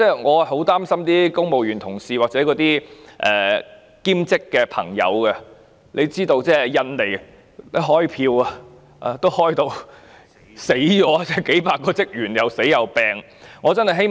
我很擔心公務員同事或兼職員工，因為印尼選舉點票也弄致數百名職員生病或死亡。